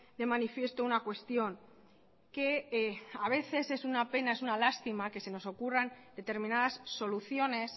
de manifiesto una cuestión que a veces es una pena una lástima que nos ocurran determinadas soluciones